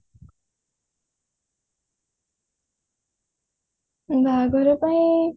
ବାହାଘର ପାଇଁ